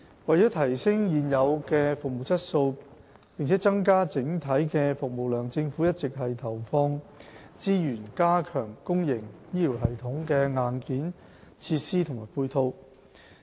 為提升現有的服務質素，並增加整體的服務量，政府一直投放資源加強公營醫療系統的硬件設施和配套。